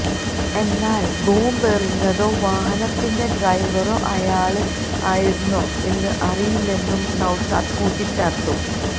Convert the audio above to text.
എന്നാല് ബോംബ് എറിഞ്ഞേതോ വാഹനത്തിന്റെ ഡ്രൈവറോ അയാള് ആയിരുന്നോ എന്ന് അറിയില്ലെന്നും നൌഷാദ് കൂട്ടിച്ചേര്ത്തു